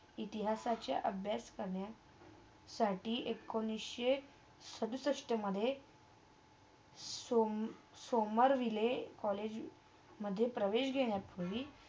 इतिहासाच्या अभ्यास करण्यात एकोणीसच्या सदुसष्टमधे सोम सोमरविले कॉलेजमधे प्रवेश घेण्या पूर्वी